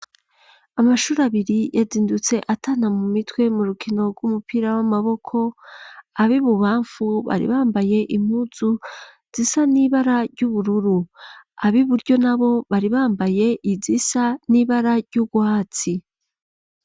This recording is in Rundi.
Amashuri abiri yazindutse atana mumitwe mu rukino rw'umupira w'amaboko abi bubamfu bari bambaye impuzu zisa n'ibara ry'ubururu abi buryo nabo bari bambaye izisa n'ibara ry'urwatsi.